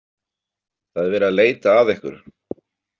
Það er verið að leita að ykkur.